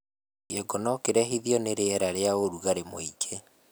kĩongo nokirehithirio ni rĩera rĩa urugari mũingĩ